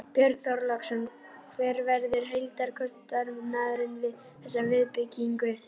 Björn Þorláksson: Hver verður heildarkostnaðurinn við þessa viðbyggingu?